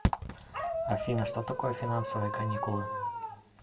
афина что такое финансовые каникулы